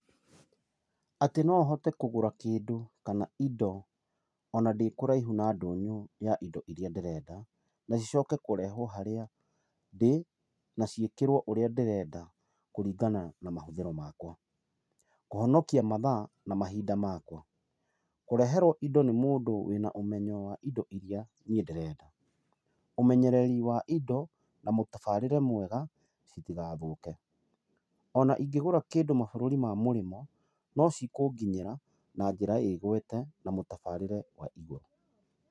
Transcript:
Atĩ nohote kũgũra kĩndũ kana indo ona ndĩ kũraihu na ndũnyũ ya indo iria ndĩrenda, na cicoke kũrehwo harĩa ndĩĩ , na ciĩkĩrwo ũrĩa ndĩrenda kũringana na mahũthĩro makwa. Kũhonokia mathaa na mahinda makwa. Kũreherwo indo nĩ mũndũ wĩna ũmenyo wa indo iria niĩ ndĩrenda. Ũmenyereri wa indo na mũtabarĩre mwega citigathũke. Ona ingĩgũra kĩndũ mabũrũri ma mũrĩmo, no cikũnginyĩra na njĩra ĩgwete na mũtabarĩre wa igũrũ.